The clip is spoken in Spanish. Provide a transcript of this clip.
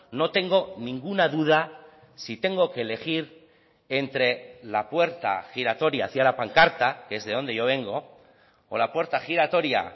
no tengo ninguna duda si tengo que elegir entre la puerta giratoria hacia la pancarta que es de donde yo vengo o la puerta giratoria